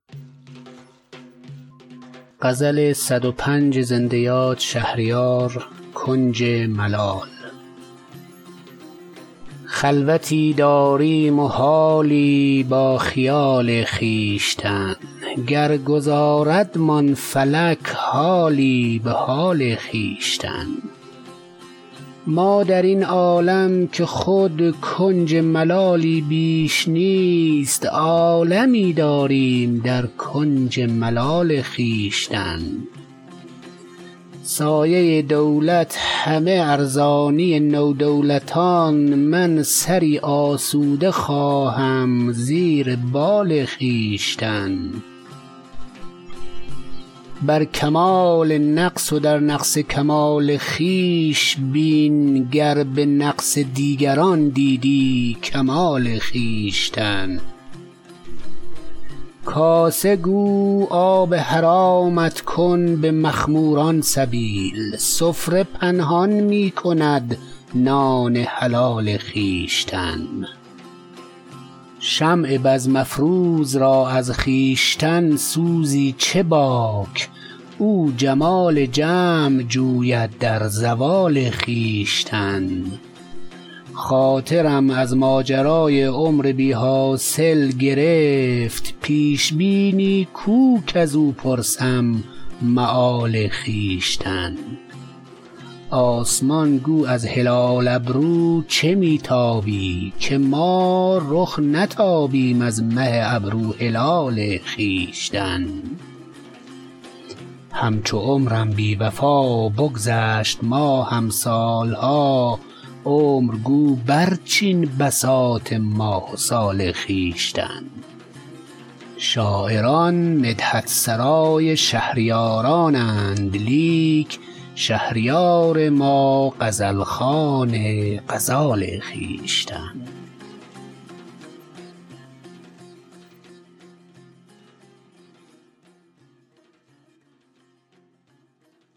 خلوتی داریم و حالی با خیال خویشتن گر گذاردمان فلک حالی به حال خویشتن ما در این عالم که خود کنج ملالی بیش نیست عالمی داریم در کنج ملال خویشتن سایه دولت همه ارزانی نودولتان من سری آسوده خواهم زیر بال خویشتن شکر ایزد شاهد بخت جمیل عاشقان کرده روشن عالم از نور جمال خویشتن بر کمال نقص و در نقص کمال خویش بین گر به نقص دیگران دیدی کمال خویشتن دست گیر آن را که نبود با کسش روی سوال تا نگیری دست بر روی سوال خویشتن دوست گو نام گناه ما مبر کز فعل خویش بس بود ما را عذاب انفعال خویشتن کاسه گو آب حرامت کن به مخموران سبیل سفره پنهان می کند نان حلال خویشتن شمع بزم افروز را از خویشتن سوزی چه باک او جمال جمع جوید در زوال خویشتن خاطرم از ماجرای عمر بی حاصل گرفت پیش بینی کو کز او پرسم مآل خویشتن آسمان گو از هلال ابرو چه می تابی که ما رخ نتابیم از مه ابرو هلال خویشتن اعتدال قامت رعناقدان از حد گذشت تا نگه داری تو حد اعتدال خویشتن همچو عمرم بی وفا بگذشت ماهم سالها عمر گو برچین بساط ماه و سال خویشتن شاعران مدحت سرای شهریارانند لیک شهریار ما غزل خوان غزال خویشتن